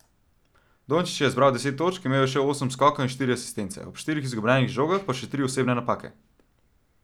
Dončić je zbral deset točk, imel še osem skokov in štiri asistence, ob štirih izgubljenih žogah pa še tri osebne napake.